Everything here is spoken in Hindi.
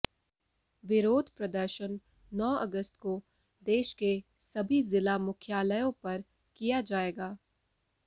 विरोध प्रदर्शन नौ अगस्त को देश के सभी जिला मुख्यालयों पर किया जाएगा